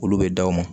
Olu bɛ da o ma